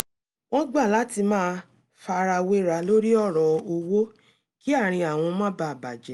wọ́n gbà láti má farawéra lorí ọ̀rọ̀ owó kí àárín àwọn má bàa bà jẹ́